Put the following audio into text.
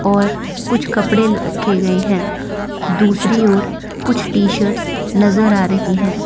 और कुछ कपड़े ल रखे गए हैं दूसरी ओर कुछ टी शर्ट्स नजर आ रही हैं।